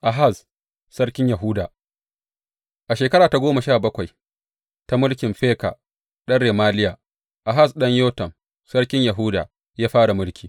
Ahaz sarkin Yahuda A shekara ta goma sha bakwai ta mulkin Feka ɗan Remaliya, Ahaz ɗan Yotam sarkin Yahuda ya fara mulki.